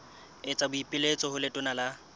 etsa boipiletso ho letona la